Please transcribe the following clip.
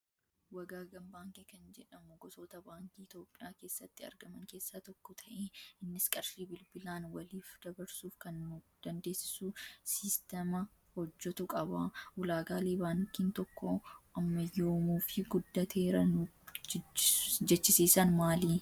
Wagaagan baankii kan jedhamu gosoota baankii Itoophiyaa keessatti argaman keessaa tokko ta'ee innis qarshii bilbilaan waliif dabarsuuf kan nu dandeessisu siisteema hojjatu qaba. Ulaagaalee baankiin tokko ammayyoomuu fi guddateera nu jechisiisan maali?